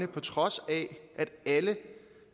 på trods af at alle